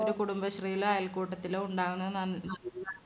കുടുംബശ്രീയിലോ അയൽക്കൂട്ടത്തിലോ ഉണ്ടാവണത് നന്ന്